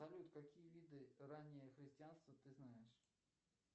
салют какие виды раннего христианства ты знаешь